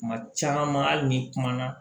Kuma caman hali ni kumana